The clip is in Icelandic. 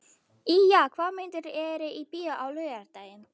Ýja, hvaða myndir eru í bíó á laugardaginn?